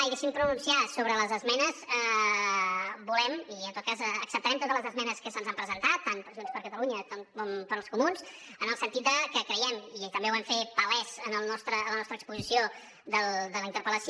i deixi’m pronunciar me sobre les esmenes acceptarem totes les esmenes que se’ns han presentat tant per junts per catalunya com pels comuns en el sentit de que creiem i també ho hem fet palès en la nostra exposició de la interpellació